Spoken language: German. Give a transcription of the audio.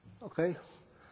Frau Kollegin!